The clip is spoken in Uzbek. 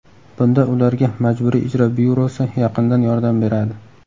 Bunda ularga Majburiy ijro byurosi yaqindan yordam beradi.